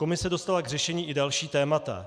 Komise dostala k řešení i další témata.